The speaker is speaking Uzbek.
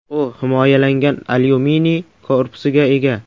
U himoyalangan alyuminiy korpusiga ega.